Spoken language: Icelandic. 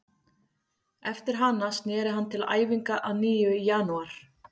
Eftir hana snéri hann til æfinga að nýju í janúar.